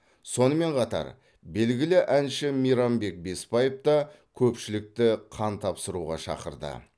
сонымен қатар белгілі әнші мейрамбек беспаев та көпшілікті қан тапсыруға шақырды